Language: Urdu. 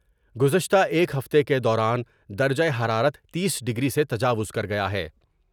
گزشتہ ایک ہفتے کے دوران درجہ حرارت تیس ڈگری سے تجاوز کر گیا ہے ۔